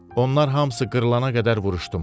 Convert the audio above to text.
Onlar hamısı qırılana qədər vuruşdum.